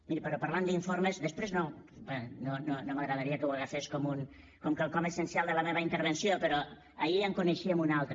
miri però parlant d’informes després no m’agradaria que ho agafés com quelcom essencial de la meva intervenció però ahir en coneixíem un altre